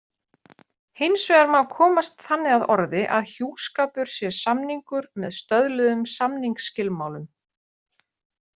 Hins vegar má komast þannig að orði að hjúskapur sé samningur með stöðluðum samningsskilmálum.